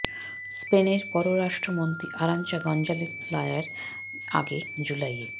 স্পেনের পররাষ্ট্র মন্ত্রী আরাঞ্চা গঞ্জালেস লায়া এর আগে জুলাইয়ে